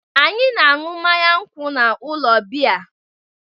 Anyị na-aṅụ mmanya nkwụ n'ụlọ biya.